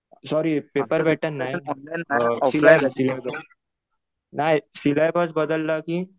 Sorry paper pattern नाही. नाही. Syllabus बदलला कि